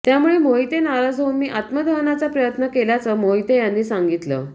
त्यामुळे मोहिते नाराज होऊन मी आत्मदहनाचा प्रयत्न केल्याचं मोहिते यांनी सांगितलं